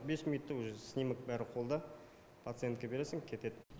бес минутта уже снимок бәрі қолда пациентке бересің кетед